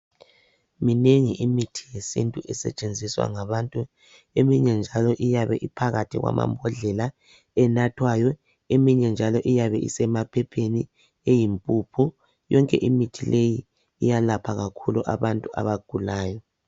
Minengi imithi yesintu esetshenziswa ngabantu. Eminye njalo iyabiphakathi kwamambodlela enathwayo. Eminye njalo isemaphepheni eyimphuphu. Yonke imithi iyalapha kakhulu abantu abangulayo.